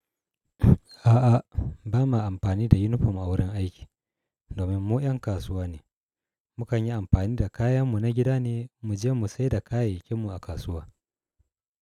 A'a, ba ma amfani da yunifom a wurin aiki. Domin mu ƴan kasuwa ne, mu kan yi amfani da kayan mu na gida ne mu je mu saida kayayyakin mu a kasuwa.